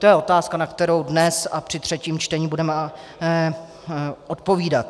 To je otázka, na kterou dnes a při třetím čtení budeme odpovídat.